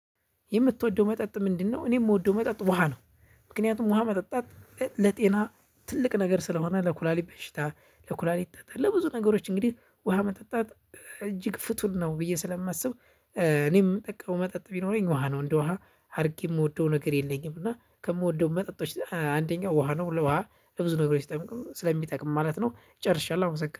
የምትወደው መጠጥ ምንድነው? እኔ የምወደው መጠጥ ውሃ ነው። ምክንያቱም ውሃ መጠጣት ለጤና ትልቅ ነገር ስለሆነ ለኩላሊት በሽታ ለኩላሊት ጠጠር ለብዙ ነገሮች እንግዲህ ውሃ መጠጣት እጅግ ፍቱን ነው ብዬ ስለማስብ። እኔም የምጠቀመው መጠጥ ቢኖረኝ ውሃ ነው እንደ ውሃ አድርጌ የምወደው ነገር የለኝም። እና ከምወደው መጠጦች አንደኛ ውሃ ነው። ለ ውሃ ለብዙ ነገሮች ስለሚጠቅም ማለት ነው። ጨርሻለሁ አመሰግናለሁ